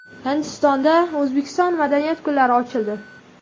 Hindistonda O‘zbekiston madaniyati kunlari ochildi.